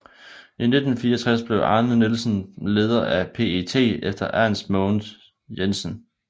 I 1964 blev Arne Nielsen leder af PET efter Ernst Mogens Jensen